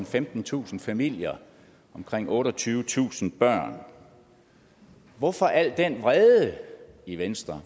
femtentusind familier og omkring otteogtyvetusind børn hvorfor al den vrede i venstre